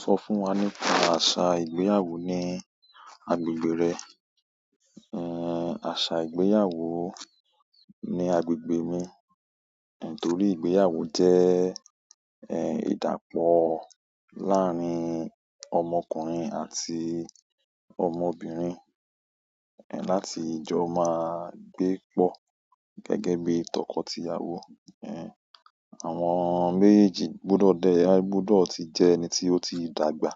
Sọ fún wa nípa àṣà ìgbéyàwó ní agbègbè rẹ. Ehn, aṣa ìgbéyàwó ní agbègbè mi, nítorí ìgbéyàwó jẹ́, ehn, ìdápọ̀ láàárín ọmọkùnrin àti ọmọbìnrin, ehn, láti jọ máa gbé pọ̀ gẹ́gẹ́ bí tọkọtìyàwó. Ehn, àwọn méjèèjì gbọdọ̀ dẹ, gbọdọ̀ ti jẹ́ ẹni tí ó ti dàgbà,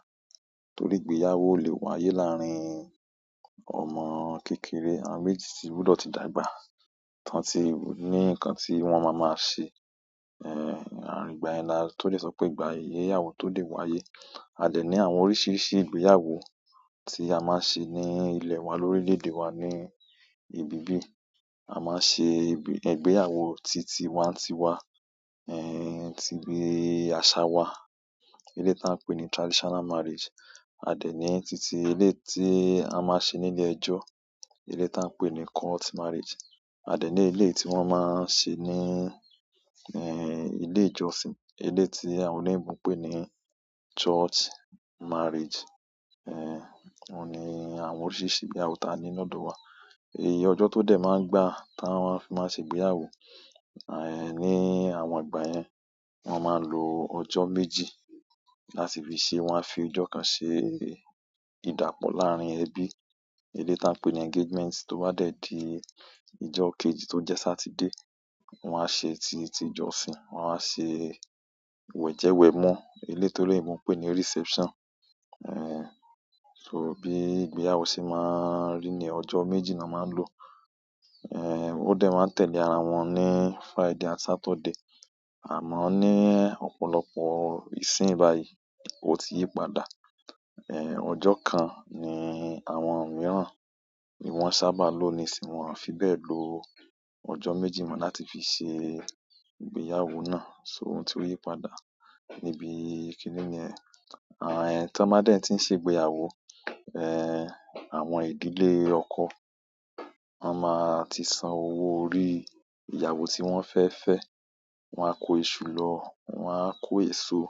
torí ìgbéyàwó ò le wáyé láàárín ọmọ kékeré. Àwọn méjèèjì tí gbọdọ̀ ti dàgbà, tán tí ní nǹkan tí wọ́n máa máa ṣe. Ehn, ìgbà yẹn la tó le sọ pé ìgbà ìyéyàwó tó le wáyé. A dè ní àwọn oríṣiríṣi ìgbéyàwó tí a máa ń ṣe ní ilẹ̀ wa lórílẹ̀èdè wa ni ibibí. A máa ń ṣe ìgbéyàwó titiwa-ntiwa, ehn, ti bi àṣà wa, eleyi tí à ń pè ní traditional marriage. A dẹ ní titi eleyi tí a máa ń ṣe nílé ẹjọ́, eleyi tí à ń pè ní court marriage. A dẹ ní ilé tí wọ́n máa ń ṣe ní, ehn, ilé ìjọsìn, ilé tí àwọn oloyinbo n pé ní church marriage. Ehn, òun ni àwọn oríṣiríṣi ìgbéyàwó tí a ni ní ọ̀dọ̀ wa. Ọjọ́ tó dẹ̀ máa ń gbà tí wọ́n máa ń ṣe ìgbéyàwó. Ehn, ní àwọn ìgbà yẹn, wọ́n máa ń lo ọjọ́ méjì láti fi ṣe, wọ́n á fi ọjọ́ kan ṣe ìdápọ̀ láàárín ẹbi, eleyi tí à ń pè ní engagement, tó bá dẹ̀ di ọjọ́ kejì tó jẹ́ Saturday, wọ́n á ṣe ti ìjọsìn, wọ́n á ṣe wẹ̀jẹwẹ̀mú, eleyi toloyinbo n pé ní reception. Ehn, so bí ìgbéyàwó ṣe máa ń rí ni ọjọ́ méjì ni wọ́n máa ń lò. Ehn, ó dẹ̀ máa ń tẹ̀lé ara wọn ní Friday àti Saturday. Àmọ́ ní ọ̀pọ̀lọpọ̀ ìsìn báyìí, ó ti yípadà. Ehn, ọjọ́ kan ni àwọn mìíràn ni wọ́n sábà lò ní isìn wọ́n fi bẹ́ẹ̀ lo ọjọ́ méjì mọ́ láti fi ṣe ìgbéyàwó náà. So oun tí ó yípadà níbi kìíní niyẹ. Ah, ehn, tí wọ́n bá dẹ̀ tí ń ṣe ìgbéyàwó, ehn, àwọn ìdílé ọkọ, wọ́n máa ti san owó orí ìyàwó tí wọ́n fẹ́ fẹ́, wọ́n á ko iṣu lọ, wọ́n á ko èso,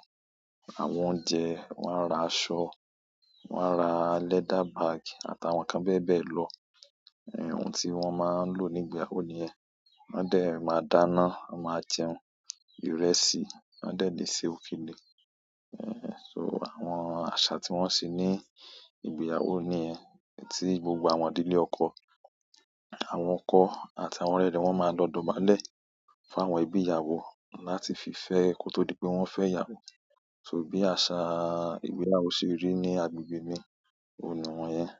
àwọn oúnjẹ, wọ́n á ra aṣọ, wọ́n á ra leather bag àtàwọn nǹkan bẹ́ẹ̀ bẹ́ẹ̀ lọ. Ehn, oun tí wọ́n máa ń le ní ìgbéyàwó niyẹn. Wọ́n dẹ̀ máa dáná, a máa jẹun, ìrẹsì, wọ́n dẹ̀ lè ṣe òkèlé. Ehn, so àwọn àṣà tí wọ́n se ní ìgbéyàwó niyẹn tí gbogbo àwọn ìdílé ọkọ, àwọn ọkọ àti àwọn ọrẹ rẹ wọ́n máa lọ dọ̀bálẹ̀ fún àwọn ẹbí ìyàwó láti fi fẹ́ ẹ ko tó di pé wọ́n fẹ́ ìyàwó. So bí àṣa ìgbéyàwó ṣe rí ní agbègbè mi, òun niwọn yẹn.